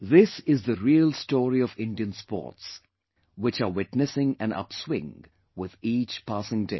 This is the real story of Indian Sports which are witnessing an upswing with each passing day